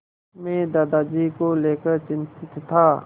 मैं दादाजी को लेकर चिंतित था